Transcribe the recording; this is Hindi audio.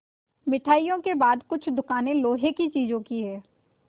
मिठाइयों के बाद कुछ दुकानें लोहे की चीज़ों की हैं